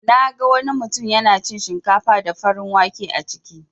Naga wani mutun yana cin shinkafa da farin wake a ciki.